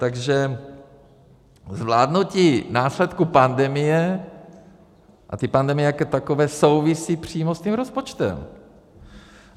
Takže zvládnutí následků pandemie a té pandemie jako takové souvisí přímo s tím rozpočtem.